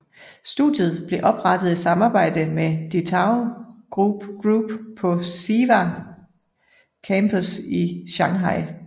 Studiet blev oprettet i samarbejde med DeTao Group på SIVA Campus i Shanghai